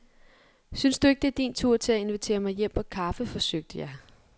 Synes du ikke, det er din tur til at invitere mig hjem på kaffe, forsøgte jeg.